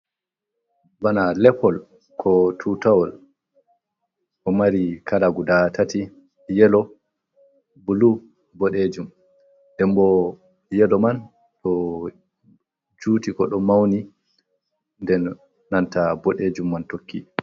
Bana lepol ko tutawol ɗo mari kala guda tati yelo, bulu, boɗejum, dem bo yelo man ɗo juti bo ɗo mauni den nanta boɗejum man tokki.